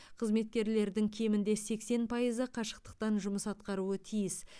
қызметкерлердің кемінде сексен пайызы қашықтықтан жұмыс атқаруы тиіс